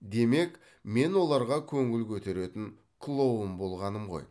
демек мен оларға көңіл көтеретін клоун болғаным ғой